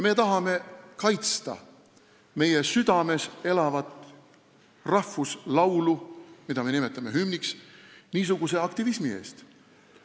Me tahame kaitsta meie südames elavat rahvuslaulu, mida me nimetame hümniks, niisuguse aktivismi eest.